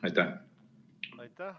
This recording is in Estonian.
Aitäh!